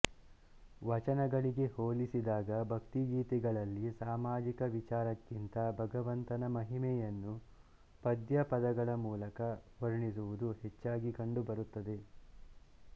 ವಚನಗಳಿಗೆ ಹೋಲಿಸಿದಾಗ ಭಕ್ತಿಗೀತೆಗಳಲ್ಲಿ ಸಾಮಾಜಿಕ ವಿಚಾರಕ್ಕಿಂತ ಭಗವಂತನ ಮಹಿಮೆಯನ್ನು ಪದ್ಯ ಪದಗಳ ಮೂಲಕ ವರ್ಣಿಸುವುದು ಹೆಚ್ಚಾಗಿ ಕಂಡು ಬರುತ್ತದೆ